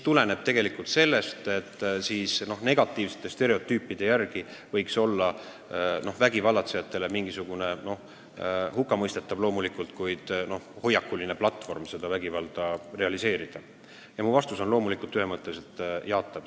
Mu vastus on loomulikult ühemõtteliselt jaatav.